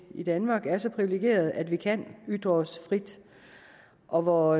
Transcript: i danmark er så privilegerede at vi kan ytre os frit og hvor